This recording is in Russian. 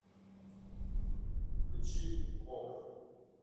включи лока